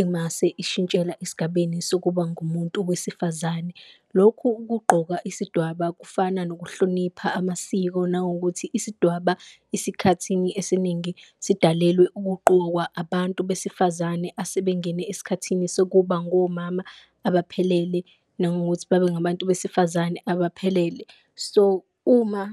emase ishintshela esigabeni sokuba ngumuntu wesifazane. Lokhu ukugqoka isidwaba kufana nokuhlonipha amasiko, nangokuthi isidwaba isikhathini esiningi sidalwe ukuqokwa abantu besifazane asebengene esikhathini sokuba ngomama abaphelele, nangokuthi babe ngabantu besifazane abaphelele. So, uma.